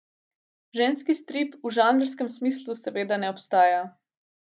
Ženski strip v žanrskem smislu seveda ne obstaja.